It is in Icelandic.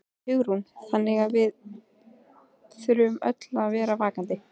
Hugrún: Þannig að við þurfum öll að vera vakandi?